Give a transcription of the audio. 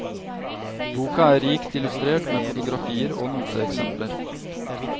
Boka er rikt illustrert med fotografier og noteeksempler.